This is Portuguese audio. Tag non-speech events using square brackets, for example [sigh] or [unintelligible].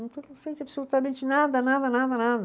[unintelligible] não sente absolutamente nada, nada, nada, nada.